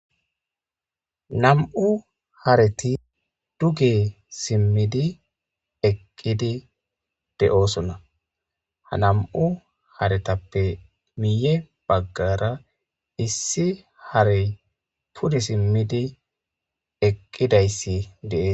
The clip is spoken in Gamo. nam7u hareti duge simmidi eqqidi de7oosonna ha nam7u haretappe miye baggara issi hare pudi simmidi eqqidayssi deees